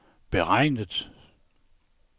beregnet